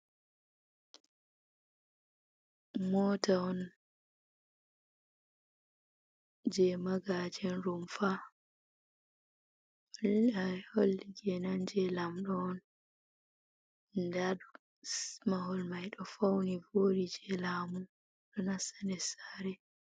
Mota on je magajen rumfa, holli je nan je lamɗo on, nda ɗum mahol mai ɗo fauni voɗi je lamu ɗo nasta nder saare